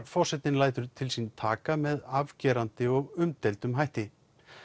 forsetinn lætur til sín taka með afgerandi og umdeildum hætti